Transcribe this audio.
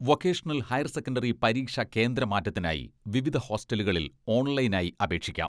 Vocational higher secondary പരീക്ഷാ കേന്ദ്രമാറ്റത്തിനായി വിവിധ ഹോസ്റ്റലുകളിൽ ഓൺലൈനായി അപേക്ഷിക്കാം.